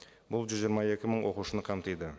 бұл жүз жиырма екі мың оқушыны қамтиды